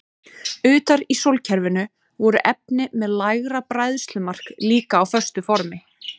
Utar í sólkerfinu voru efni með lægra bræðslumark líka á föstu formi.